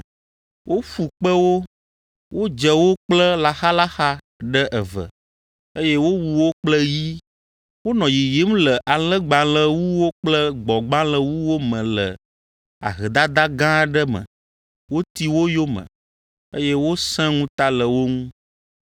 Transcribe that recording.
Woƒu kpe wo, wodze wo kple laxalaxa ɖe eve, eye wowu wo kple yi. Wonɔ yiyim le alẽgbalẽwuwo kple gbɔ̃gbalẽwuwo me le ahedada gã aɖe me. Woti wo yome, eye wosẽ ŋuta le wo ŋu,